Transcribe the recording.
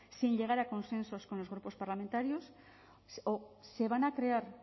sin llegar a consensos con los grupos parlamentarios o se van a crear